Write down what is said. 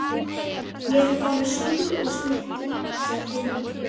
Ég ætla að fá mér súpu og snittur, sagði Hilmar.